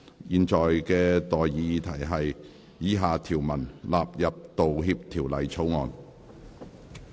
現在的待議議題是：以下條文納入《道歉條例草案》。